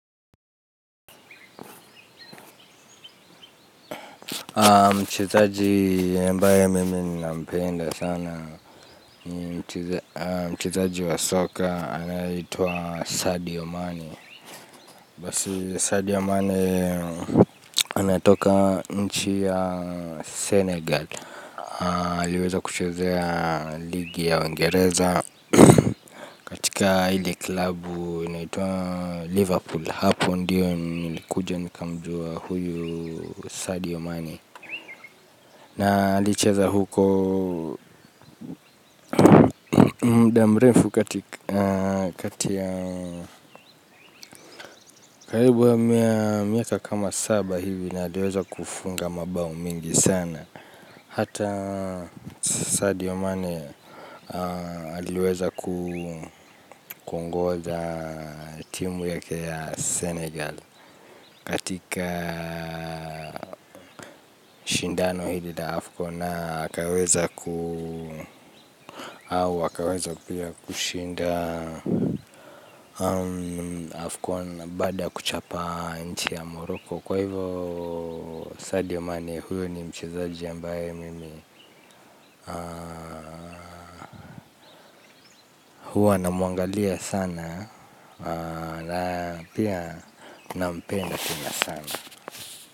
Mchezaji mpira ambaye mimi nampenda sana mchezaji wa soka anaitwa Sadio Mane. Basi Sadio Mane anatoka nchi ya Senegal. Aliweza kuchezea ligi ya Uingereza katika ile klabu inayoitwa Liverpool. Hapo ndipo nilikuja nikamjua huyu Sadio Mane. Na alicheza huko. Muda mrefu, kati ya karibu ya miaka kama saba hivi, na aliweza kufunga mabao mengi sana. Hata Sadio Mane aliweza kuongoza timu ya Senegal. Katika shindano hili la Afcon na akaweza au wakaweza pia kushinda Afcon baada kuchapa nchi ya Morocco, kwa hivyo Sadio Mane huyo ni mchezaji ambaye mimi huwa namuangalia sana na pia nampenda pia sana.